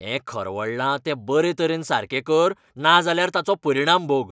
हें खरवडलां तें बरे तरेन सारके कर नाजाल्यार ताचो परिणाम भोग.